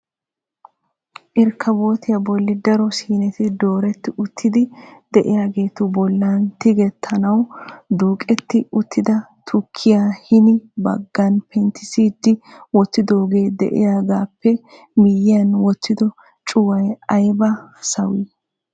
Irkkabotiyaa bolli daro siineti dooreti uttidi de'iyaagetu bollan tigetaanaw duuketi uttada tukkiya hini baggan penttissidi wottidooge de'iyaagappw miyyiyan wottido cuway aybba sawii!